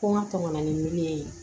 Ko n ka tɔmɔnɔ ni ye